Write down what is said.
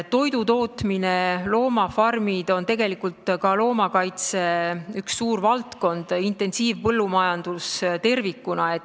Toidutootmine ja loomafarmid on ka loomakaitse üks suuri valdkondi, kogu intensiivpõllumajandus tervikuna.